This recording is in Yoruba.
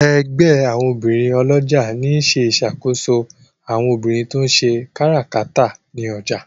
ègbé àwọn obìrin olójà ní ṣe ìṣàkóso àwọn obìrin to ń ṣe káràkátà ní ọjà.